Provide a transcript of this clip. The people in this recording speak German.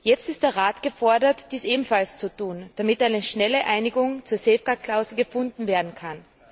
Jetzt ist der Rat gefordert, dies ebenfalls zu tun, damit eine schnelle Einigung zur Safeguard Klausel gefunden werden kann.